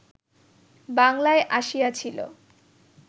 বাংলায় আসিয়াছিল